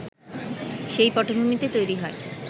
সেই পটভূমিতে তৈরি হয়